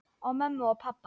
Og mömmu og pabba.